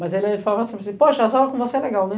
Mas ele falava sempre assim, poxa, as aulas com você é legal, né?